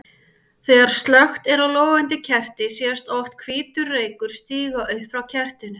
Þegar slökkt er á logandi kerti sést oft hvítur reykur stíga upp frá kertinu.